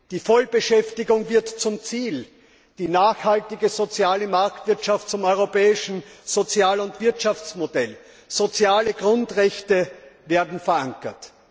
Die Vollbeschäftigung wird zum Ziel, die nachhaltige soziale Marktwirtschaft zum europäischen Sozial und Wirtschaftsmodell, soziale Grundrechte werden verankert.